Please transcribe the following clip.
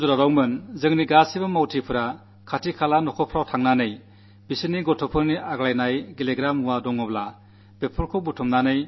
ഞാൻ ഗുജറാത്തിലായിരുന്നപ്പോൾ നമ്മുടെ പ്രവർത്തകൾ തെരുവിലിറങ്ങി വീടുകളിലുള്ള പഴയ കളിപ്പാട്ടങ്ങൾ ദാനമായി അഭ്യർഥിച്ചിരുന്നു